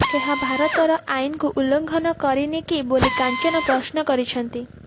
ଏହା ଭାରତର ଆଇନକୁ ଉଲ୍ଲଂଘନ କରିନି କି ବୋଲି କାଞ୍ଚନ ପ୍ରଶ୍ନ କରିଛନ୍ତି